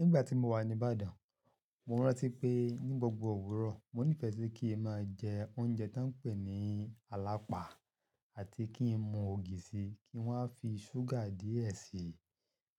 Nígbà tí mo wà ní Ibadan, mo rántí pé ní gbogbo òwúrọ̀, mo nífẹ̀ẹ́ si kí n máa jẹ oúnjẹ tó ń pè ní alapa àti kí n mu ògì síi, kí n wa a fi ṣúgà díẹ̀ síi.